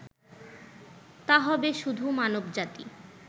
তা হবে শুধু মানবজাতি